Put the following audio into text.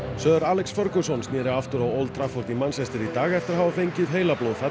Sir Alex Ferguson sneri aftur á Trafford í dag eftir heilablóðfall